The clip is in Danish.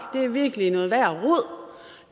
det er virkelig noget